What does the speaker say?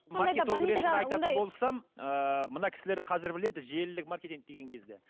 ыыы мына кісілер қазір біледі желілік маркетинг деген кезде